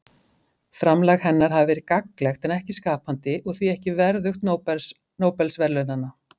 framlag hennar hafi verið gagnlegt en ekki skapandi og því ekki verðugt nóbelsverðlaunanna